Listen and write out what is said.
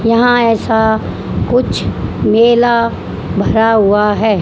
यहां ऐसा कुछ मेला भरा हुआ है।